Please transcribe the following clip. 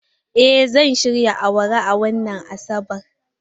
Eh, zan shirya awara a wannan Asabar.